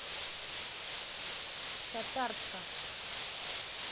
татарска